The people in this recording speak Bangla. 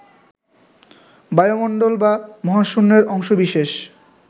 বায়ুমণ্ডল বা মহাশূন্যের অংশবিশেষ